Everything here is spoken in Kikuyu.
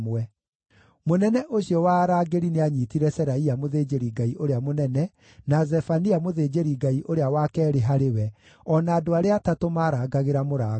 Mũnene ũcio wa arangĩri nĩanyiitire Seraia mũthĩnjĩri-Ngai ũrĩa mũnene, na Zefania mũthĩnjĩri-Ngai ũrĩa wa keerĩ harĩ we, o na andũ arĩa atatũ maarangagĩra mũrango.